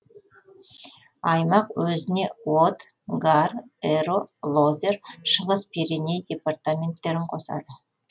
аймақ өзіне од гар эро лозер шығыс пиреней департаменттерін қосады